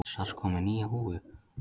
Strax kominn með nýja